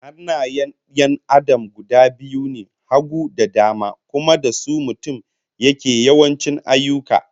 Hannayen 'yan Adam guda biyu ne, hagu da dama, kuma da su mutum yake yawanci ayyuka